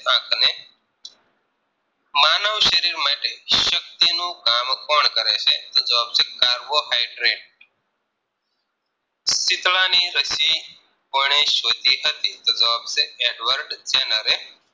શરીર માટે શક્તિ નું કામ કોણ કરે છે તો જવાબ છે Carbohydrates શીતળાની રશી કોને શોધી હતી તો જવાબ છે તો જવાબ છે Adverb tenre